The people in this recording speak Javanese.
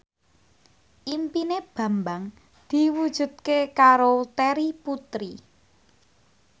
impine Bambang diwujudke karo Terry Putri